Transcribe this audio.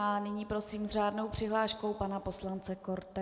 A nyní prosím s řádnou přihláškou pana poslance Korte.